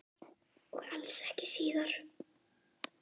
Og alls ekki síðri.